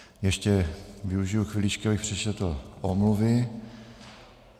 Ještě využiji chviličky, abych přečetl omluvy.